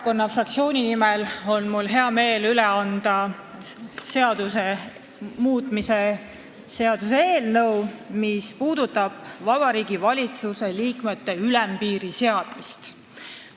Mul on hea meel anda Vabaerakonna fraktsiooni nimel üle seaduse muutmise seaduse eelnõu Vabariigi Valitsuse liikmete arvule ülempiiri seadmise kohta.